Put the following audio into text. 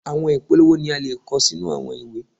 Àwọn ìpolówó ni a le kọ sínú àwọn ìwé.